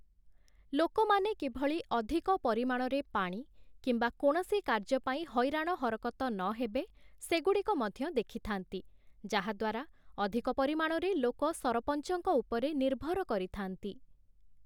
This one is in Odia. ଲୋକମାନେ କିଭଳି ଅଧିକ ପରିମାଣରେ ପାଣି କିମ୍ବା କୌଣସି କାର୍ଯ୍ୟ ପାଇଁ ହଇରାଣ ହରକତ ନହେବେ, ସେଗୁଡ଼ିକ ମଧ୍ୟ ଦେଖିଥାନ୍ତି । ଯାହା ଦ୍ଵାରା ଅଧିକ ପରିମାଣରେ ଲୋକ ସରପଞ୍ଚଙ୍କ ଉପରେ ନିର୍ଭର କରିଥାନ୍ତି ।